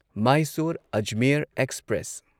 Mysore Ajmer express